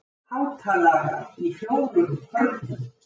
Hátalarar í fjórum hornum.